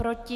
Proti?